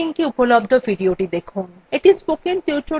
এই linkএ উপলব্ধ videothe দেখুন